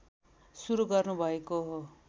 सुरु गर्नुभएको हो